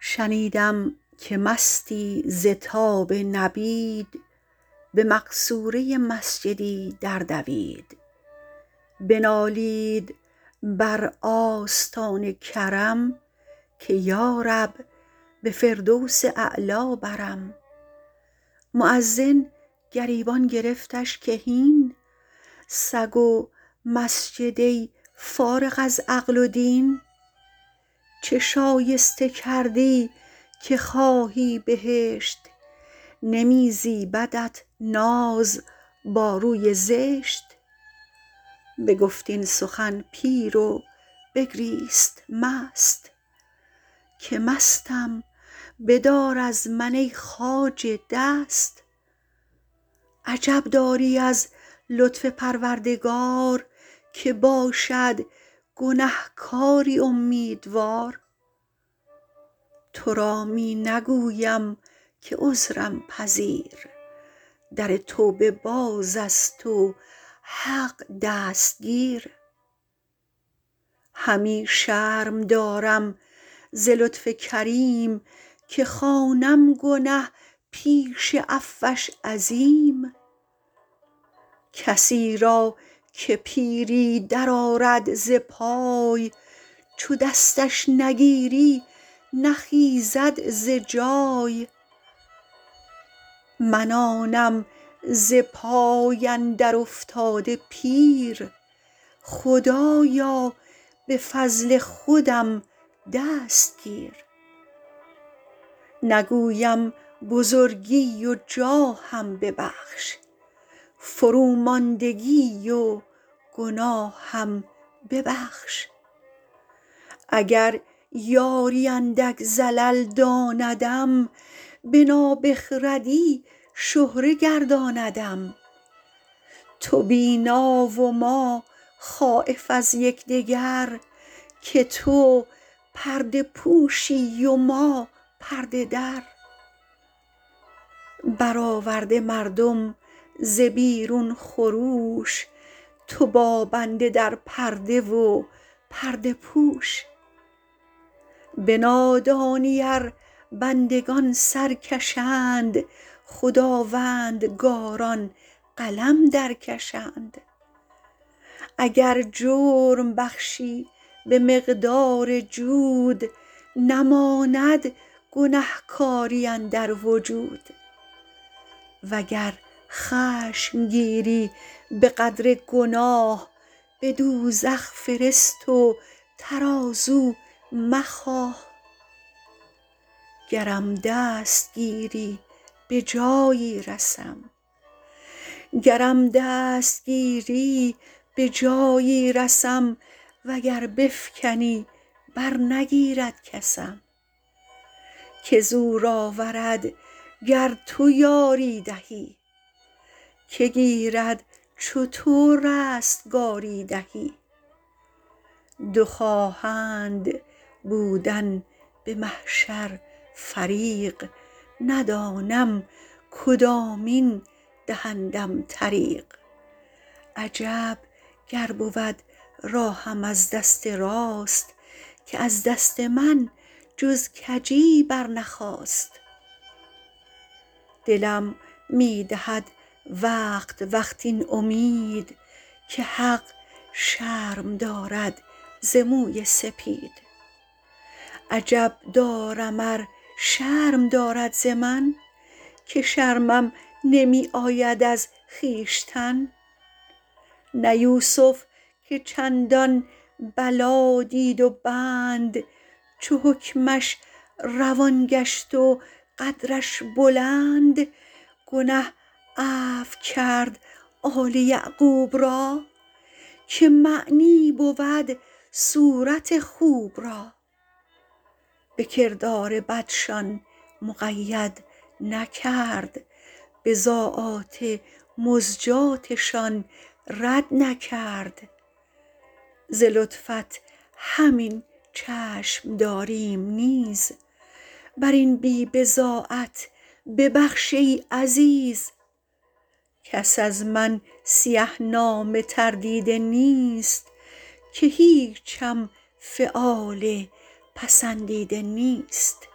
شنیدم که مستی ز تاب نبید به مقصوره مسجدی در دوید بنالید بر آستان کرم که یارب به فردوس اعلی برم مؤذن گریبان گرفتش که هین سگ و مسجد ای فارغ از عقل و دین چه شایسته کردی که خواهی بهشت نمی زیبدت ناز با روی زشت بگفت این سخن پیر و بگریست مست که مستم بدار از من ای خواجه دست عجب داری از لطف پروردگار که باشد گنهکاری امیدوار تو را می نگویم که عذرم پذیر در توبه باز است و حق دستگیر همی شرم دارم ز لطف کریم که خوانم گنه پیش عفوش عظیم کسی را که پیری در آرد ز پای چو دستش نگیری نخیزد ز جای من آنم ز پای اندر افتاده پیر خدایا به فضل خودم دست گیر نگویم بزرگی و جاهم ببخش فروماندگی و گناهم ببخش اگر یاری اندک زلل داندم به نابخردی شهره گرداندم تو بینا و ما خایف از یکدگر که تو پرده پوشی و ما پرده در برآورده مردم ز بیرون خروش تو با بنده در پرده و پرده پوش به نادانی ار بندگان سرکشند خداوندگاران قلم در کشند اگر جرم بخشی به مقدار جود نماند گنهکاری اندر وجود وگر خشم گیری به قدر گناه به دوزخ فرست و ترازو مخواه گرم دست گیری به جایی رسم وگر بفکنی بر نگیرد کسم که زور آورد گر تو یاری دهی که گیرد چو تو رستگاری دهی دو خواهند بودن به محشر فریق ندانم کدامین دهندم طریق عجب گر بود راهم از دست راست که از دست من جز کجی برنخاست دلم می دهد وقت وقت این امید که حق شرم دارد ز موی سپید عجب دارم ار شرم دارد ز من که شرمم نمی آید از خویشتن نه یوسف که چندان بلا دید و بند چو حکمش روان گشت و قدرش بلند گنه عفو کرد آل یعقوب را که معنی بود صورت خوب را به کردار بدشان مقید نکرد بضاعات مزجاتشان رد نکرد ز لطفت همین چشم داریم نیز بر این بی بضاعت ببخش ای عزیز کس از من سیه نامه تر دیده نیست که هیچم فعال پسندیده نیست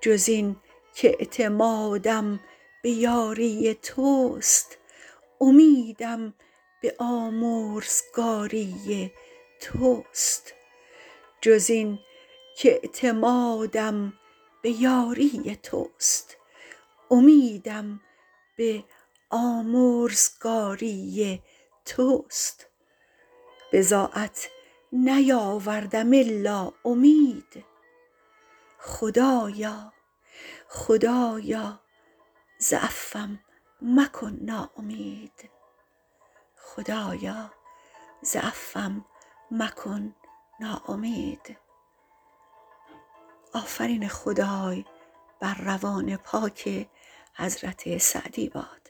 جز این کاعتمادم به یاری تست امیدم به آمرزگاری تست بضاعت نیاوردم الا امید خدایا ز عفوم مکن ناامید